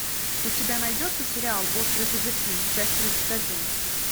у тебя найдется сериал острые козырьки часть тридцать один